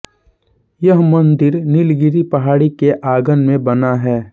यह मंदिर नीलगिरी पहाड़ी के आंगन में बना है